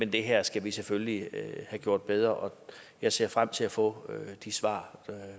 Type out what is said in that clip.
det her skal vi selvfølgelig have gjort bedre og jeg ser frem til at få de svar